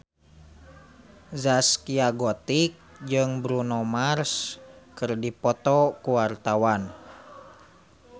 Zaskia Gotik jeung Bruno Mars keur dipoto ku wartawan